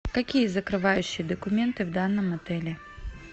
какие закрывающие документы в данном отеле